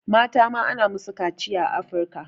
Mata ma ana musu kaciya a Afirika.